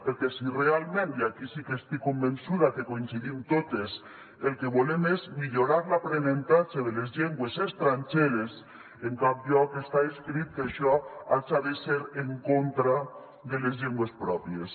perquè si realment i aquí sí que estic convençuda que hi coincidim totes el que volem és millorar l’aprenentatge de les llengües estrangeres en cap lloc està escrit que això haja de ser en contra de les llengües pròpies